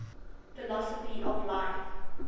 philosophy of life